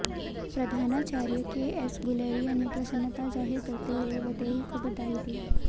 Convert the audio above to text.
प्रधानाचार्य केएस गुलेरिया ने प्रसन्नता जाहिर करते हुए वैदेही को बधाई दी